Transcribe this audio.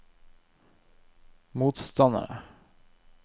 motstandere